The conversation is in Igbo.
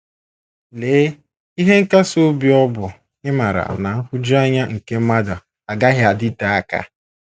Lee ihe nkasi obi ọ bụ ịmara na nhụjuanya nke mmadụ agaghị adịte aka!